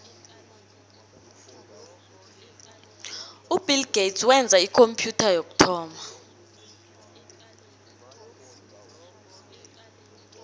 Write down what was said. ubill gates wenza ikhompyutha yokuthoma